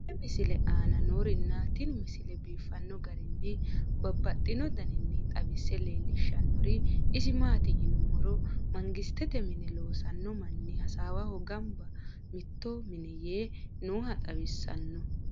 tenne misile aana noorina tini misile biiffanno garinni babaxxinno daniinni xawisse leelishanori isi maati yinummoro mangisette mine loosanno manni hassawaho ganbba miitto minne yee nooha xawissanno.